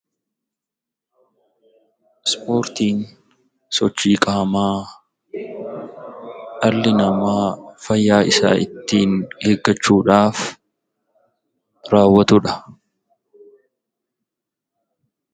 Ispoortiin sochii qaamaa dhalli namaa fayyaa isaa ittiin eeggachuudhaaf raawwatudha.